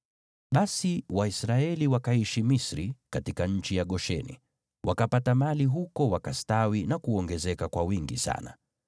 Basi Waisraeli wakaishi Misri katika nchi ya Gosheni. Wakapata mali huko wakastawi na kuongezeka kwa wingi sana.